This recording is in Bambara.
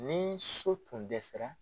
Ni so tun dɛsɛra